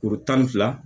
Kuru tan ni fila